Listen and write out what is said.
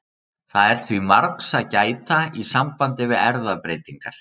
Það er því margs að gæta í sambandi við erfðabreytingar.